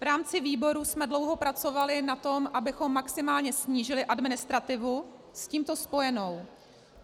V rámci výboru jsme dlouho pracovali na tom, abychom maximálně snížili administrativu s tímto spojenou.